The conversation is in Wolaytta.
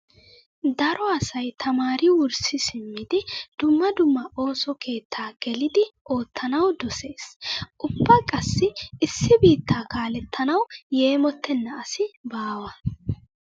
Daro asay tamaari wurssi simmidi dumma dumma ooso keettaa gelidi oottanawu dosees. Ubba qassi issi biittaa kalettanawu yeemottenna asi baawa.